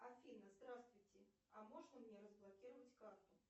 афина здравствуйте а можно мне разблокировать карту